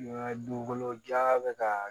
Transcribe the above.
Dugukolo jan bɛ ka